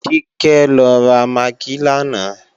Kíkẹ́ lọ ra magí lánàá